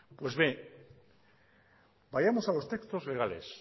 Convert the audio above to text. pues bien vayamos a los textos legales